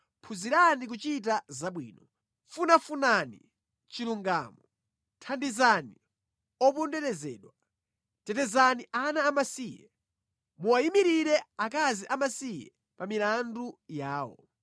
phunzirani kuchita zabwino! Funafunani chilungamo, thandizani oponderezedwa. Tetezani ana amasiye, muwayimirire akazi amasiye pa milandu yawo.”